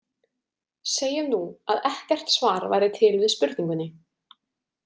Segjum nú, að ekkert svar væri til við spurningunni.